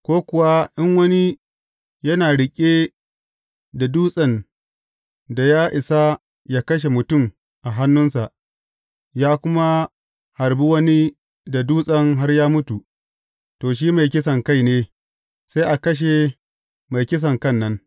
Ko kuwa in wani yana riƙe da dutsen da ya isa yă kashe mutum a hannunsa, ya kuma harbi wani da dutsen har ya mutu, to, shi mai kisankai ne, sai a kashe mai kisankan nan.